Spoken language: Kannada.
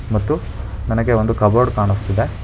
ಮತ್ತು ನನಗೆ ಒಂದು ಕಬೋರ್ಡ್ ಕಾಣಿಸುತ್ತಿದೆ